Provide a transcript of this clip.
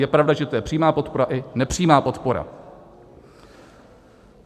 Je pravda, že to je přímá podpora i nepřímá podpora.